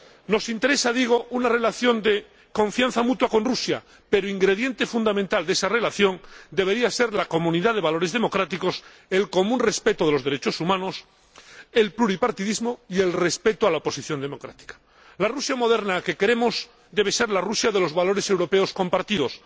Nos interesa, digo, una relación de confianza mutua con Rusia, pero ingrediente fundamental de esa relación debería ser la comunidad de valores democráticos, el común respeto de los derechos humanos, el pluripartidismo y el respeto a la oposición democrática. La Rusia moderna que queremos debe ser la Rusia de los valores europeos compartidos.